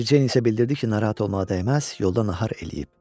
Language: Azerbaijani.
Meri Ceyn isə bildirdi ki, narahat olmağa dəyməz, yolda nahar eləyib.